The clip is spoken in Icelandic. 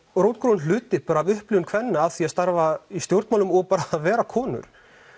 rótgróinn hluti af upplifun kvenna af því að starfa í stjórnmálum og bara vera konur